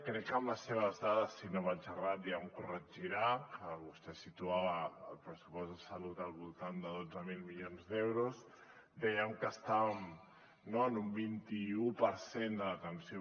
crec que amb les seves dades si no vaig errat ja em corregirà que vostè situava el pressupost de salut al voltant de dotze mil milions d’euros dèiem que estàvem no en un vint i u per cent de l’atenció